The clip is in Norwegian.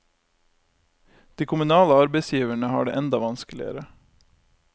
De kommunale arbeidsgiverne har det enda vanskeligere.